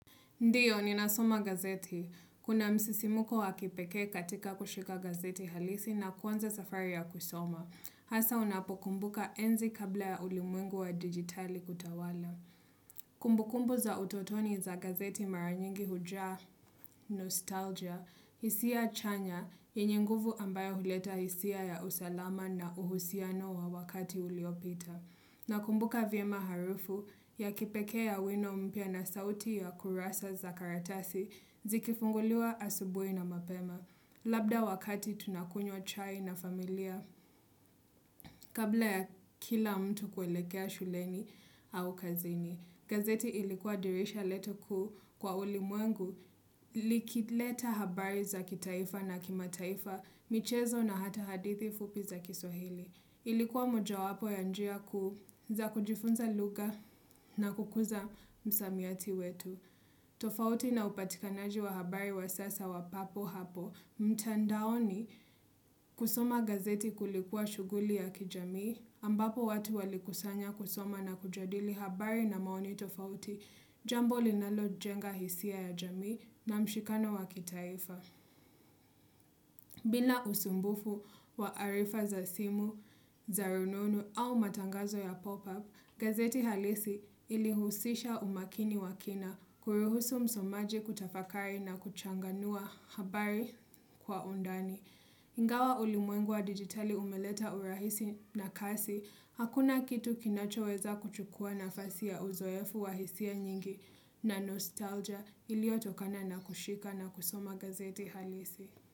Ndiyo, ninasoma gazeti. Kuna msisimko wa kipekee katika kushika gazeti halisi na kuanza safari ya kuisoma. Hasa unapokumbuka enzi kabla ya ulimwengu wa digitali kutawala. Kumbukumbu za utotoni za gazeti mara nyingi hujaa nostalgia, hisia chanya, yenye nguvu ambayo huleta hisia ya usalama na uhusiano wa wakati uliopita. Nakumbuka vyema harufu ya kipekee ya wino mpya na sauti ya kurasa za karatasi zikifunguliwa asubuhi na mapema. Labda wakati tunakunywa chai na familia kabla ya kila mtu kuelekea shuleni au kazini. Gazeti ilikuwa dirisha letu kuu kwa ulimwengu likileta habari za kitaifa na kimataifa michezo na hata hadithi fupi za kiswahili. Ilikuwa mojawapo ya njia kuu za kujifunza lugha na kukuza msamiati wetu. Tofauti na upatikanaji wa habari wa sasa wa papo hapo mtandaoni kusoma gazeti kulikuwa shughuli ya kijamii ambapo watu walikusanya kuisoma na kujadili habari na maoni tofauti jambo linalo jenga hisia ya jamii na mshikano wa kitaifa. Bila usumbufu wa arifa za simu, za rununu au matangazo ya pop-up, gazeti halisi ilihusisha umakini wa kina kuruhusu msomaji kutafakari na kuchanganua habari kwa undani. Ingawa ulimwengu wa digitali umeleta urahisi na kasi, hakuna kitu kinachoweza kuchukua nafasi ya uzoefu wa hisia nyingi na nostalgia iliyotokana na kushika na kusoma gazeti halisi.